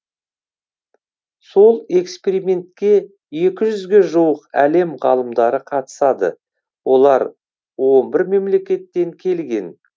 сол экспериментке екі жүзге жуық әлем ғалымдары қатысады олар он бір мемлекеттен келген